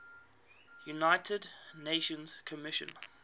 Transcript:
united nations commission